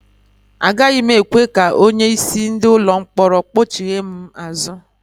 Agaghị m ekwe ka onye isi ndị ụlọ mkpọrọ kpọchigha m azụ